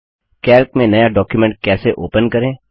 Calc में नया document कैसे ओपन करें